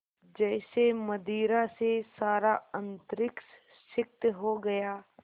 जैसे मदिरा से सारा अंतरिक्ष सिक्त हो गया